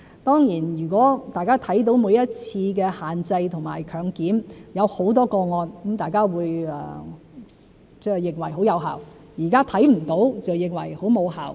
當然，如果大家看到每一次的限制和強檢行動找到很多個案，大家便認為很有效；現在看不到，就認為很無效。